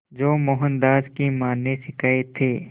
जो मोहनदास की मां ने सिखाए थे